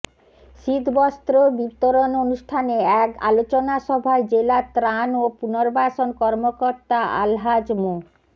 শীতবস্ত্র বিতরণ অনুষ্ঠানে এক আলোচনাসভায় জেলা ত্রাণ ও পুনর্বাসন কর্মকর্তা আলহাজ মো